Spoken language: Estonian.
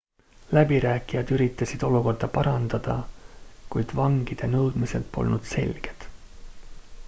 läbirääkijad üritasid olukorda parandada kuid vangide nõudmised polnud selged